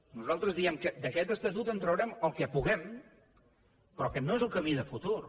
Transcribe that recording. nosaltres diem que d’aquest estatut en traurem el que puguem però que no és el camí de futur